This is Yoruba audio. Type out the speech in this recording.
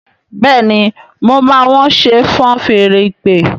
Béèni mọ má wón ṣe fọ́n Fèèrè ìpè?